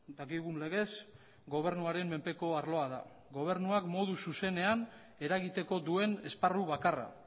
dakigun legez gobernuaren menpeko arloa da gobernuak modu zuzenean eragiteko duen esparru bakarra